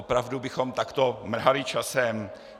Opravdu bychom takto mrhali časem?